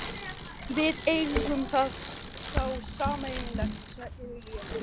Við eigum það þá sameiginlegt, segir hún.